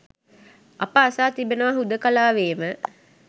අප අසා තිබෙනවා හුදෙකලාවේම